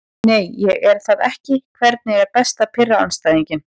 Nei ég er það ekki Hvernig er best að pirra andstæðinginn?